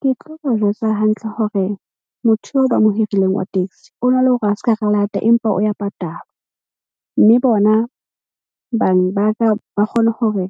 Ke tlo ba jwetsa hantle hore motho eo ba mo hirileng wa taxi o na le hore a ska re lata empa o ya patalwa. Mme bona bang ba ka ba kgone hore